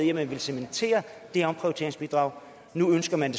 i at man ville cementere det omprioriteringsbidrag nu ønsker man